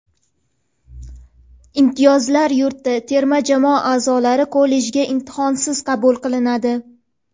"Imtiyozlar yurti": terma jamoa a’zolari kollejga imtihonsiz qabul qilinadi.